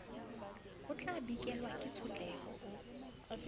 o tlabikelwa ke tshotleho o